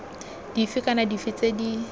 dife kana dife tse di